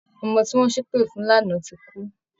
Ọmọ tí wọ́n ṣépè fún lánàá ti kú